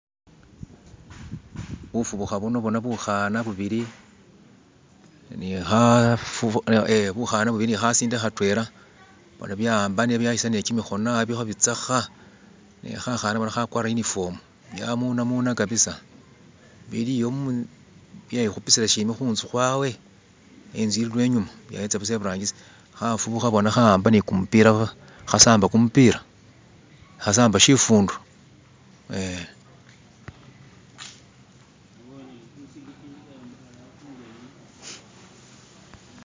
bufubuha bona buhana bubili nihasinde hatwela bona byawambanile kyimihono biliho bitseha nehahana hakwara yunifomu nehamunamuna kabisa biliyo byehupisila shimbi nihunzu hwawe inzu ili lwenyuma byayitsa imaso hufubuha bona hawamba nikumupila hasamba nikumupila hasamba shifundo eh